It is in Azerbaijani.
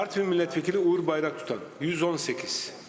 Artvin millət vəkili Uğur Bayraktutan, 118 səs.